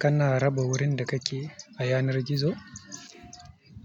Kana raba wurin da kake a yanar gizo?